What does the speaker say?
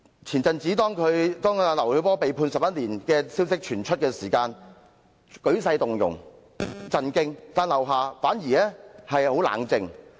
前陣子劉曉波被判11年的消息傳出，舉世動容、震驚，但劉霞反而很冷靜。